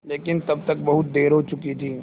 लेकिन तब तक बहुत देर हो चुकी थी